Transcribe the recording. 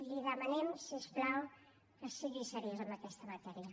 li demanem si us plau que sigui seriós en aquesta matèria